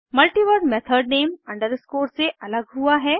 multiverse method name underscore से अलग हुआ है